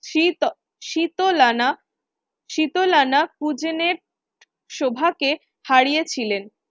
কে হারিয়েছিলেন।